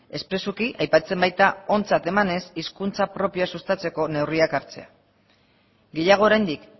espresuki aipatzen baita ontzat emanez hizkuntza propioa sustatzeko neurriak hartzea gehiago oraindik